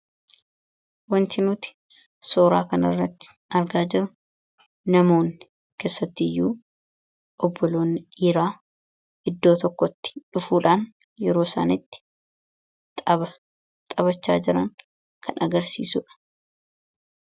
Wanti nuti suuraa kanarratti argaa jirru, namoonni keessattiyyu, obboloonni dhiiraa iddoo tokkotti dhufuudhaan yeroo isaan itti tapha taphachaa jiran kan agarsiisudha.